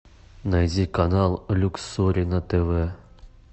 найди канал люксори на тв